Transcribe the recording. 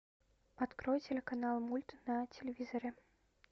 открой телеканал мульт на телевизоре